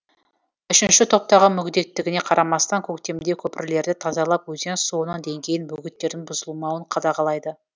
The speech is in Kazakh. үшінші топтағы мүгедектігіне қарамастан көктемде көпірлерді тазалап өзен суының деңгейін бөгеттердің бұзылмауын қадағалайды